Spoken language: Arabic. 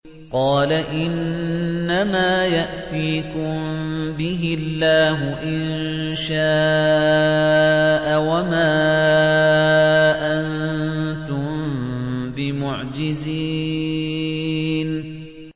قَالَ إِنَّمَا يَأْتِيكُم بِهِ اللَّهُ إِن شَاءَ وَمَا أَنتُم بِمُعْجِزِينَ